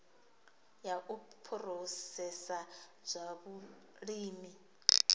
ya u phurosesa zwa vhulimi